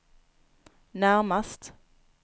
närmast